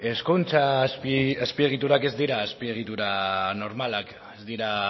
hezkuntza azpiegiturak ez dira azpiegitura normalak ez dira